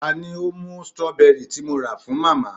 ta ni ó mú strawberry tí mo rà fún màmá